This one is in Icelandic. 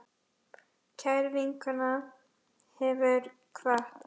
Kær vinkona hefur kvatt.